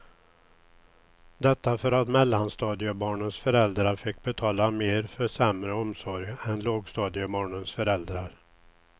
Detta för att mellanstadiebarnens föräldrar fick betala mer för sämre omsorg än lågstadiebarnens föräldrar.